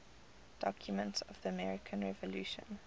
documents of the american revolution